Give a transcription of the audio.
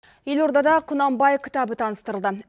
елордада құнанбай кітабы таныстырылды